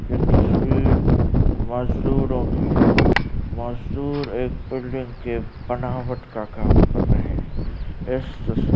यह तस्वीर मजदूरों की है। मजदूर एक बिल्डिंग की बनावट का काम कर रहे हैं। इस तस्वीर --